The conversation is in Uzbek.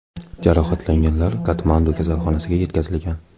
Jarohatlanganlar Katmandu kasalxonasiga yetkazilgan.